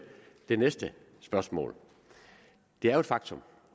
det næste spørgsmål det er jo et faktum